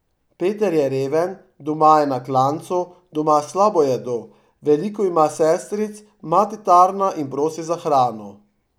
Peter je reven, doma je na klancu, doma slabo jedo, veliko ima sestric, mati tarna in prosi za hrano.